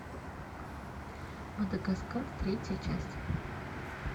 мадагаскар третья часть